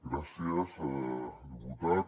gràcies diputats